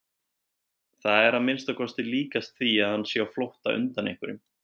Það er að minnsta kosti líkast því að hann sé á flótta undan einhverjum.